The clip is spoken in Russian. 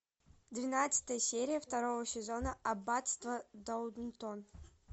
двенадцатая серия второго сезона аббатство даунтон